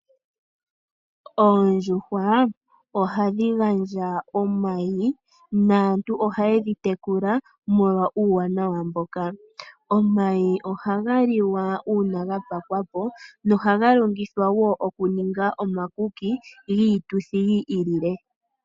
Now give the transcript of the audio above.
Oondjuhwa ohadhi gandja omayi. Aantu ahaye dhi tekula molwa uuwanawa mboka. Omayi oha ga liwa Uuna ga pakwa po na ohaga longithwa woo oku omakuki giituthi yi ili no yi ili.